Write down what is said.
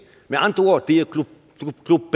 med andre ord det